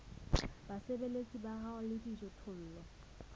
basebeletsi ba hao le dijothollo